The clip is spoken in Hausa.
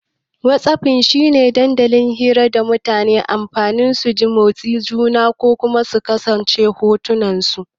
Whatsapping shi ne dandalin hira da mutane ke amfani su ji motsin juna Kuma su saka hotunansu.